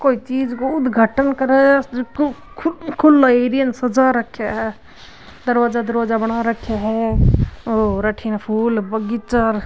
कोई चीज काे उद्घाटन करे जको खुलो एरिया ने सजा रख्या है दरवाजा दरवाजा बना राख्या है और अठीन फूल बगीचा --